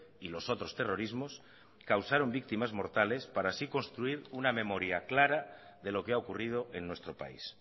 y los otros terrorismos causaron víctimas mortales para así construir una memoria clara de lo que ha ocurrido en nuestro país